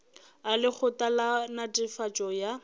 a lekgotla la netefatšo ya